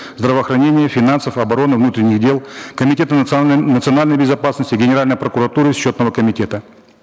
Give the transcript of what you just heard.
здравоохранения финансов обороны внутренних дел комитета национальной безопасности генеральной прокуратуры счетного комитета